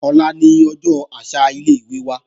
Ọ̀la ni ọjọ́ àṣà ilé-ìwé wa